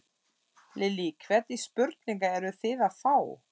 Lillý: Hvernig spurningar eruð þið að fá?